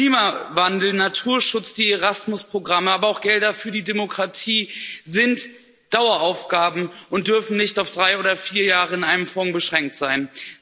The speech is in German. Klimawandel, Naturschutz, die Erasmus Programme, aber auch Gelder für die Demokratie sind Daueraufgaben und dürfen nicht auf drei oder vier Jahre in einem Fonds beschränkt sein.